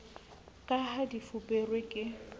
ka ha di fuperwe ke